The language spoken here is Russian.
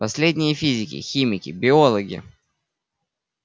последние физики химики биологи